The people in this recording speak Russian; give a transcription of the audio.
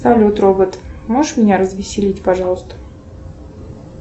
салют робот можешь меня развеселить пожалуйста